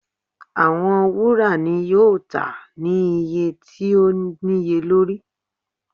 Awọn wura yoo ta ni iye owo ti o niyelori.